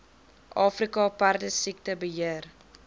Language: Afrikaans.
afrika perdesiekte beheer